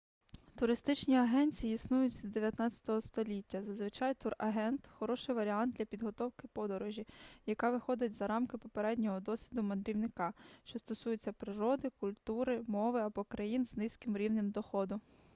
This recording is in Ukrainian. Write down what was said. туристичні агенції існують з 19 століття зазвичай турагент хороший варіант для підготовки подорожі яка виходить за рамки попереднього досвіду мандрівника що стосується природи культури мови або країн з низьким рівнем доходу